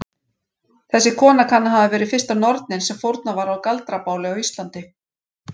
Þessi kona kann að hafa verið fyrsta nornin sem fórnað var á galdrabáli á Íslandi.